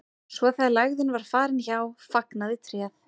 svo þegar lægðin var farin hjá fagnaði tréð